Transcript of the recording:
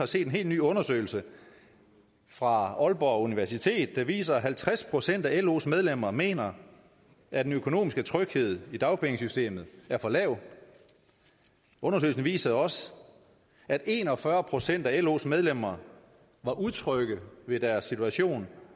set en helt ny undersøgelse fra aalborg universitet der viser at halvtreds procent af los medlemmer mener at den økonomiske tryghed i dagpengesystemet er for lav undersøgelsen viser også at en og fyrre procent af los medlemmer var utrygge ved deres situation